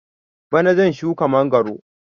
Bana zan shuka mangwaro